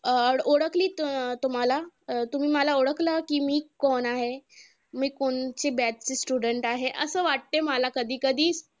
अं ओळखली तुम्हांला अं तुम्ही मला ओळखलं कि मी कोण आहे? मी कोणती batch ची student आहे? असं वाटतं मला कधी कधी